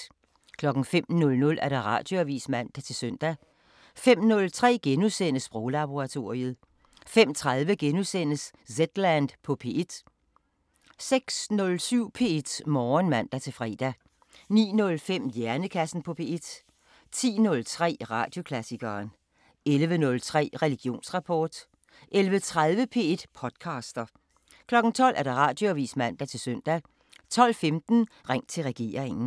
05:00: Radioavisen (man-søn) 05:03: Sproglaboratoriet * 05:30: Zetland på P1 * 06:07: P1 Morgen (man-fre) 09:05: Hjernekassen på P1 10:03: Radioklassikeren 11:03: Religionsrapport 11:30: P1 podcaster 12:00: Radioavisen (man-søn) 12:15: Ring til regeringen